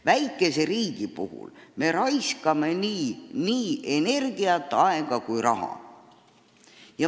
Väikese riigina me raiskame nii energiat, aega ja raha.